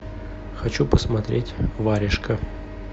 хочу посмотреть варежка